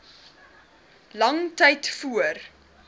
lang tyd voor